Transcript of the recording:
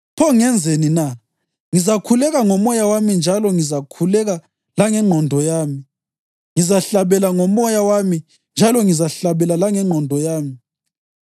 Pho ngenzeni na? Ngizakhuleka ngomoya wami njalo ngizakhuleka langengqondo yami; ngizahlabela ngomoya wami njalo ngizahlabela langengqondo yami.